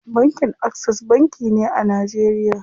Bankin Access banki ne a Najeriya.